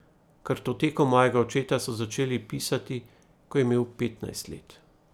Kartoteko mojega očeta so začeli pisati, ko je imel petnajst let.